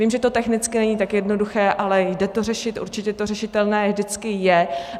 Vím, že to technicky není tak jednoduché, ale jde to řešit, určitě to řešitelné vždycky je.